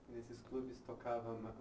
Nesses clubes tocava